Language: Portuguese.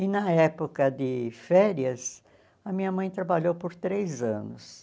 E na época de férias, a minha mãe trabalhou por três anos.